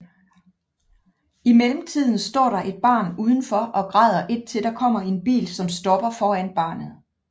I mellem tiden står der et barn uden for og græder indtil der kommer en bil som stopper foran barnet